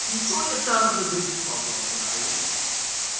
Insoniyat tarixida birinchi fazogir ayol.